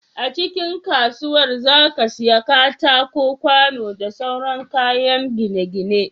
A cikin kasuwar zaka iyya katako kwano da sauran kayan gine gine